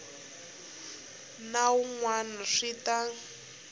na wun wana swi ta